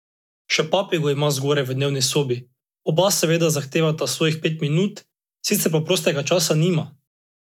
Še papigo ima, zgoraj v dnevni sobi, oba seveda zahtevata svojih pet minut, sicer pa prostega časa nima.